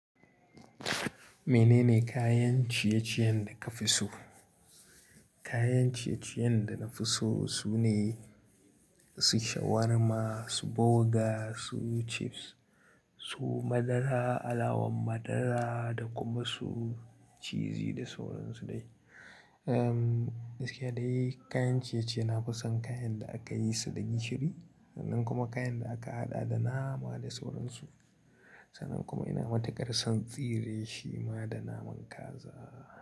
Menene kayan ciye-ciyen da ka fi so? Kayan ciye-ciyen da na fi so sune su shawarma, su burger, su chips, su madara, alawan madara da kuma su cizi da sauran su dai. Um, gaskiya dai kayan ciye-ciye na fi son kayan da aka yi su da gishiri, sannan kuma kayan da aka haɗa da nama da sauran su. Sannan kuma ina matuƙar son tsire shima da naman kaza.